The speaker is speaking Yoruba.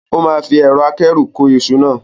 O máa fi ẹ̀rọ akẹ́rù kó iṣu náà.